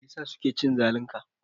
Meyasa suke cin zalin ka?